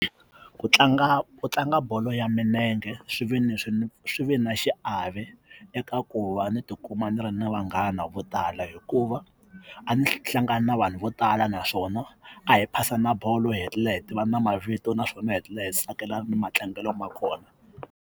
Ku tlanga ku tlanga bolo ya milenge swi ve ni swi ni swi ve na xiave eka ku va ni tikuma ni ri na vanghana vo tala hikuva a ni hlangana na vanhu vo tala naswona a hi phasana bolo hi tlhela hi tivana na mavito naswona hetelela hi tsakelana na matlangelo ma kona.